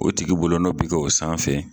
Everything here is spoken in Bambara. O tigi bolonɔ bi k'o sanfɛ